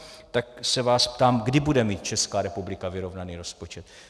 Tak se vás ptám, kdy bude mít Česká republika vyrovnaný rozpočet.